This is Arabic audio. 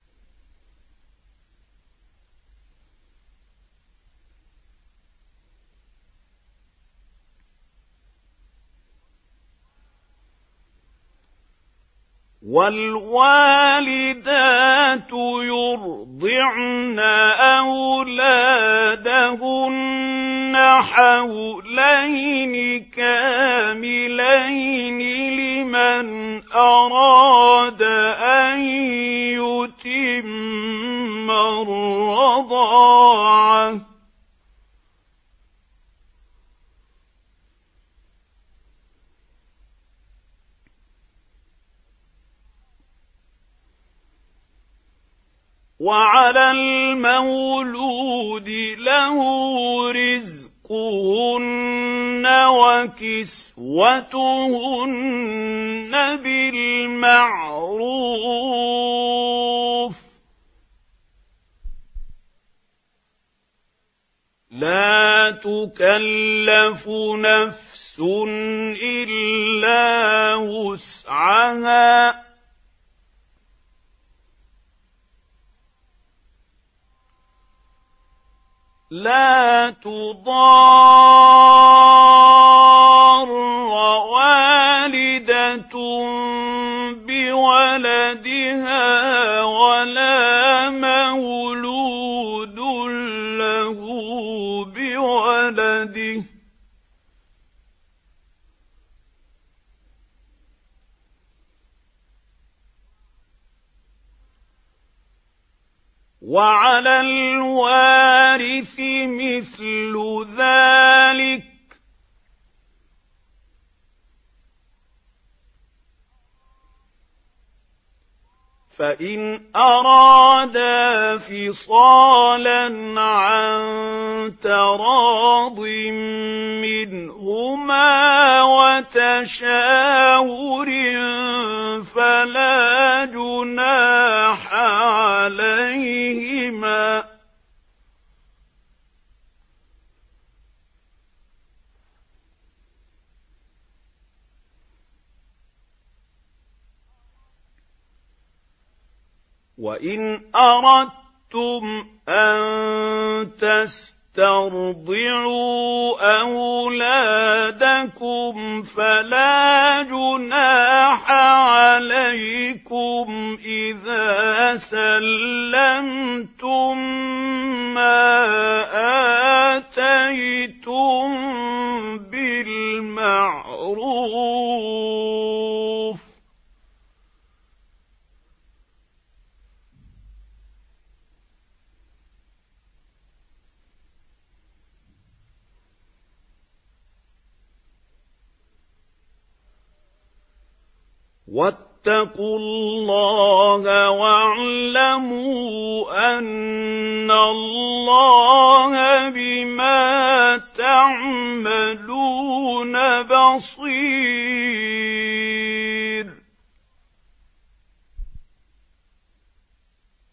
۞ وَالْوَالِدَاتُ يُرْضِعْنَ أَوْلَادَهُنَّ حَوْلَيْنِ كَامِلَيْنِ ۖ لِمَنْ أَرَادَ أَن يُتِمَّ الرَّضَاعَةَ ۚ وَعَلَى الْمَوْلُودِ لَهُ رِزْقُهُنَّ وَكِسْوَتُهُنَّ بِالْمَعْرُوفِ ۚ لَا تُكَلَّفُ نَفْسٌ إِلَّا وُسْعَهَا ۚ لَا تُضَارَّ وَالِدَةٌ بِوَلَدِهَا وَلَا مَوْلُودٌ لَّهُ بِوَلَدِهِ ۚ وَعَلَى الْوَارِثِ مِثْلُ ذَٰلِكَ ۗ فَإِنْ أَرَادَا فِصَالًا عَن تَرَاضٍ مِّنْهُمَا وَتَشَاوُرٍ فَلَا جُنَاحَ عَلَيْهِمَا ۗ وَإِنْ أَرَدتُّمْ أَن تَسْتَرْضِعُوا أَوْلَادَكُمْ فَلَا جُنَاحَ عَلَيْكُمْ إِذَا سَلَّمْتُم مَّا آتَيْتُم بِالْمَعْرُوفِ ۗ وَاتَّقُوا اللَّهَ وَاعْلَمُوا أَنَّ اللَّهَ بِمَا تَعْمَلُونَ بَصِيرٌ